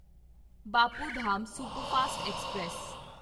Bapu Dham superfast express